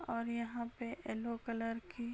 और यहां पे येल्लो कलर की --